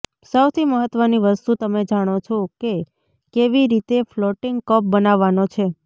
સૌથી મહત્વની વસ્તુ તમે જાણો છો કે કેવી રીતે ફ્લોટિંગ કપ બનાવવાનો છે